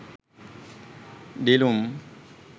dilum